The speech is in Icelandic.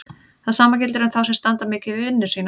Það sama gildir um þá sem standa mikið við vinnu sína.